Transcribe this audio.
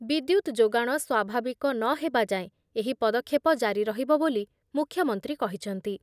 ବିଦ୍ୟୁତ୍ ଯୋଗାଣ ସ୍ଵାଭାବିକ ନ ହେବା ଯାଏଁ ଏହି ପଦକ୍ଷେପ ଜାରି ରହିବ ବୋଲି ମୁଖ୍ୟମନ୍ତ୍ରୀ କହିଛନ୍ତି ।